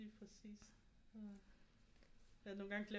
Ja lige præcis ja nogle gange glemmer